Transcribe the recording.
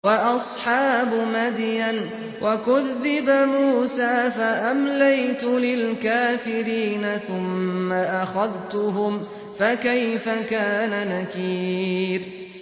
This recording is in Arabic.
وَأَصْحَابُ مَدْيَنَ ۖ وَكُذِّبَ مُوسَىٰ فَأَمْلَيْتُ لِلْكَافِرِينَ ثُمَّ أَخَذْتُهُمْ ۖ فَكَيْفَ كَانَ نَكِيرِ